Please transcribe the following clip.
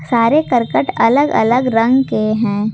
सारे करकट अलग अलग रंग के हैं।